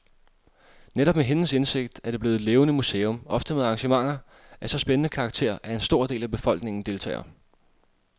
Netop med hendes indsigt er det blevet et levende museum, ofte med arrangementer af så spændende karakter, at en stor del af befolkningen deltager.